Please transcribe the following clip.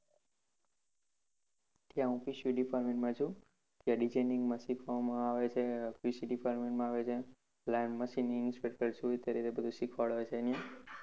ત્યાં departmentQC માં છુ. ત્યાં designing માં શીખવામાં આવે છે QCdepartment માં આવે છે. plan maching inspector શું એ અત્યારે બધુ શીખવાડે છે અહિંયા.